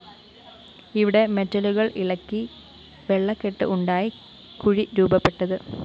ഇവിടെ മെറ്റലുകള്‍ ഇളകി വെള്ളക്കെട്ട് ഉണ്ടായി കുഴി രൂപപ്പെട്ടത്